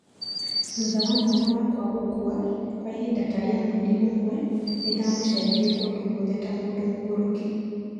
"Thutha wa mwana wakwa gũkua, kwa ihinda ta rĩa mweri ũmwe, nĩ ndamũcaririe kũndũ guothe ta mũndũ mũgũrũki"